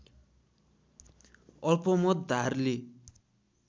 अल्पमत धारले